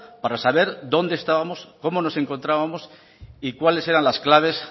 para saber dónde estábamos cómo nos encontrábamos y cuáles eran las claves